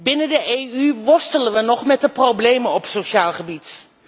Binnen de EU worstelen we nog met de problemen op sociaal gebied.